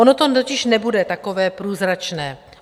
Ono to totiž nebude takové průzračné.